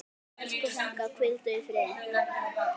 Elsku frænka, hvíldu í friði.